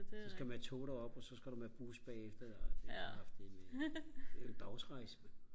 så skal man med tog derop og så skal du med bus bagefter og det er kraftædme det er en dagsrejse mand